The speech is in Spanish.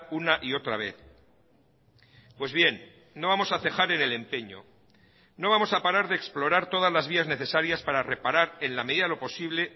una y otra vez pues bien no vamos a cejar en el empeño no vamos a parar de explorar todas las vías necesarias para reparar en la medida de lo posible